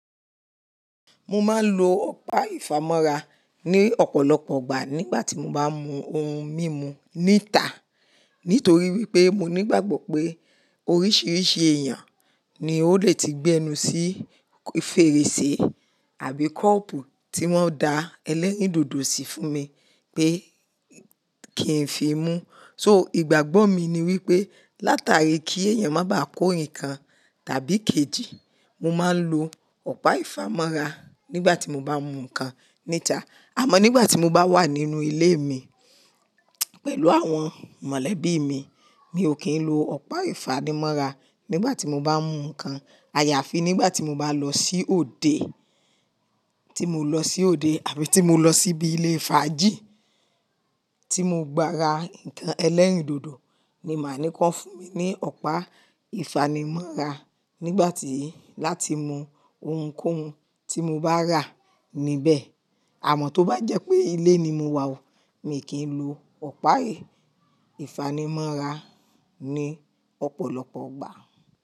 Mo máa ń lo ọ̀pá ìfámọ́ra ní ọ̀pọ̀lọpọ̀ igbà nígbà tí mo bá n mú ohun mímu níta. Nítorí wípé mo ní ìgbàgbọ́ pé oríṣiríṣi èèyàn ni ó lè ti gbẹnu sí fèrèsé àbí kọ́ọ̀pù tí wọ́n da ẹlẹ́rìndòdò sí fún mi pé kí n fi mu. So ìgbàgbọ́ mi ni wípé látari kí èèyàn má bàá kó ǹkan tàbí kejì, mo máa ń lo ọ̀pá ìfámọ́ra nígbà tí mo bá mú ǹkan níta. Àmọ́ nígbà tí mo bá wà nínú ilé mi pẹ̀lú àwọn mọ̀lẹ́bí mi, mi ò kí ń lo ọ̀pá ìfánimọ́ra nígbà tí mo bá mú ǹkan. Àyàfi nígbà tí mo bá lọ sí òde, tí mo lọ sí òde àbí tí mo lọ síbi ilé fàájì tí mo gbà ra ǹkan ẹlẹ́rìndòdò ni màá ní kọn fún mi ní ọ̀pá ìfánimọ́ra nígbà tí láti mú ohunkóhun tí mo bá rà níbẹ̀. Àmọ́ tó bá jẹ́ pé ilé ni mo wà ọ̀, mi kí ń lo ọ̀pá ìfámọ́ra ní ọ̀pọ̀lọpọ̀ ọgbà.